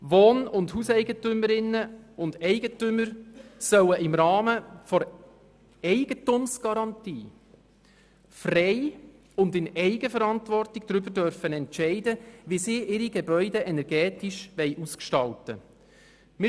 Wohn- und Hauseigentümerinnen und -eigentümer sollen im Rahmen der Eigentumsgarantie frei und in Eigenverantwortung darüber entscheiden dürfen, wie sie ihre Gebäude energetisch ausgestalten wollen.